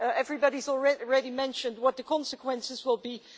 Everybody has already mentioned what the consequences will be.